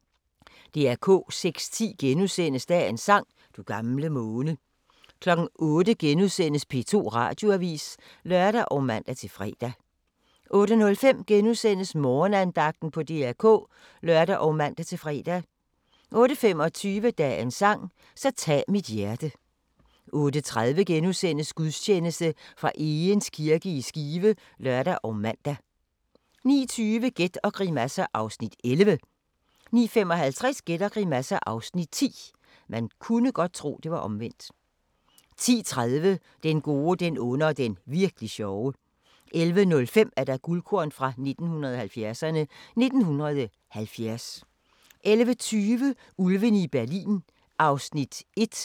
06:10: Dagens sang: Du gamle måne * 08:00: P2 Radioavis *(lør og man-fre) 08:05: Morgenandagten på DR K *(lør og man-fre) 08:25: Dagens sang: Så tag mit hjerte 08:30: Gudstjeneste fra Egeris kirke i Skive *(lør og man) 09:20: Gæt og grimasser (Afs. 11) 09:55: Gæt og grimasser (Afs. 10) 10:30: Den gode, den onde og den virk'li sjove 11:05: Guldkorn 1970'erne: 1970 11:20: Ulvene fra Berlin (1:3)